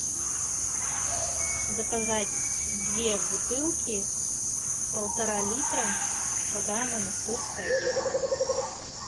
заказать две бутылки полтора литра вода монастырская детская